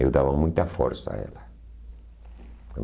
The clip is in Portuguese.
Eu dava muita força a ela.